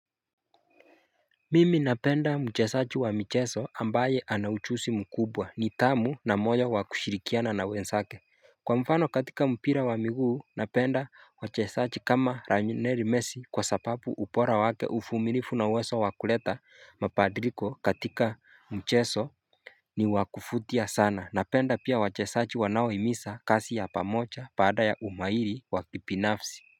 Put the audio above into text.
Mimi napenda mchesachi wa mcheso ambaye anachusi mkubwa ni tamu na moja wakushirikiana na wensake Kwa mfano katika mpira wa miguu napenda mchesachi kama ranyuneri mesi kwa sapapu upora wake ufuminifu na weso wakuleta mapadriko katika mcheso ni wakufutia sana napenda pia mchesachi wanawo imisa kasi ya pamocha pada ya umairi wakipinafsi.